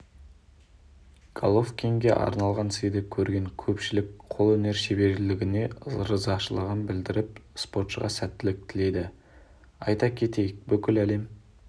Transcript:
головкинге арналғын сыйды көрген көпшілік қолөнер шеберіне ризашылығын білдіріп спортшыға сәттілік тіледі айта кетейік бүкіл әлем